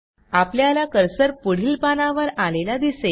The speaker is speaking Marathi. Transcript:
आपल्याला कर्सर पुढील पानावर आलेला दिसेल